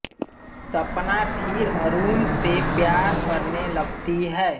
सपना फिर अरुण से प्यार करने लगती है